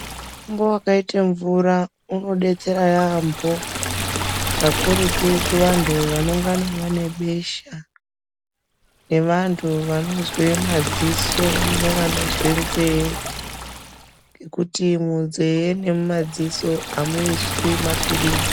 Mutombo wakaite mvura unodetsera yaambo kakurutu kuvantu vanongana vane besha nevantu vanozwe madziso nevanozwe nzee ngekuti munzee nemumadziso amuiswi mapirizi.